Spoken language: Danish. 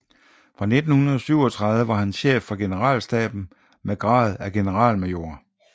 Fra 1937 var han chef for generalstaben med grad af generalmajor